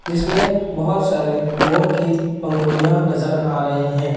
जिसमें बहोत सारे मोर की पंखुड़ियां नजर आ रही हैं।